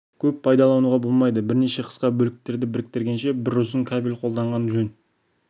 көп пайдалануға болмайды бірнеше қысқа бөліктерді біріктіргенше бір ұзын кабель қолданған жөн